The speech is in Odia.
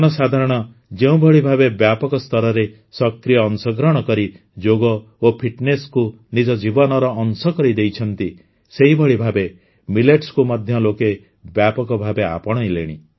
ଜନସାଧାରଣ ଯେଉଁଭଳି ଭାବେ ବ୍ୟାପକ ସ୍ତରରେ ସକ୍ରିୟ ଅଂଶଗ୍ରହଣ କରି ଯୋଗ ଓ ଫିଟନେସକୁ ନିଜ ଜୀବନର ଅଂଶ କରିଦେଇଛନ୍ତି ସେହିଭଳି ଭାବେ ମିଲେଟ୍ସକୁ ମଧ୍ୟ ଲୋକେ ବ୍ୟାପକଭାବେ ଆପଣାଇଲେଣି